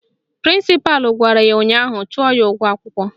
Prịnsịpalụ gwara ya ụnyaahụ "Chụọ ya n'ụgwọ akwụkwọ!